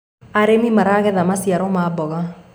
arĩmi maragetha maciaro ma mboga